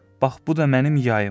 Bax bu da mənim yayım.